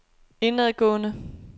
indadgående